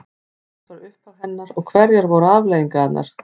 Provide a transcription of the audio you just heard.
Hvert var upphaf hennar og hverjar voru afleiðingarnar?